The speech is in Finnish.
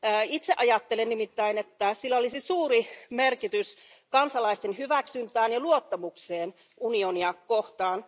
Itse ajattelen nimittäin, että sillä olisi suuri merkitys kansalaisten hyväksynnälle ja luottamukselle unionia kohtaan.